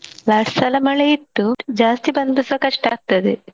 last ಸಲಾ ಮಳೆ ಇತ್ತು ಜಾಸ್ತಿ ಬಂದ್ರುಸ ಕಷ್ಟ ಆಗ್ತದೆ.